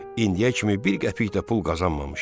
İndiyə kimi bir qəpik də pul qazanmamışdı.